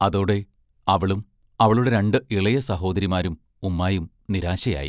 അതോടെ, അവളും അവളുടെ രണ്ട് ഇളയ സഹോദരിമാരും ഉമ്മായും നിരാശയായി.